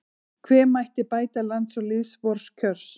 Hve mætti bæta lands og lýðs vors kjör